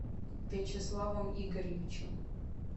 вячеславом игорьевичем